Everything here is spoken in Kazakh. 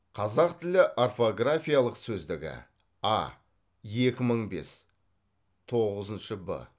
қазақ тілі орфографиялық сөздігі а екі мың бес тоғызыншы б